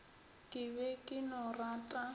ke be ke no rata